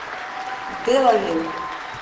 белави